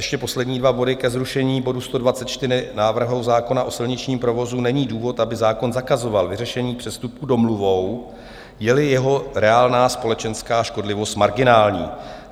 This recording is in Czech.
Ještě poslední dva body ke zrušení bodu 124 návrhu zákona o silničním provozu: není důvod, aby zákon zakazoval vyřešení přestupku domluvou, je-li jeho reálná společenská škodlivost marginální.